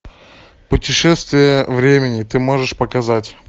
путешествие времени ты можешь показать